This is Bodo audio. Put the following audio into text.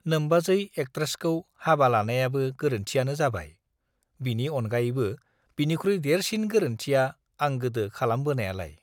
नोम्बाजै एक्ट्रेसखौ हाबा लानायाबो गोरोन्थियानो जाबाय, बिनि आनगायैबो बिनिख्रुइ देरसिन गोरोन्थिया आं गोदो खालामबोनायालाय?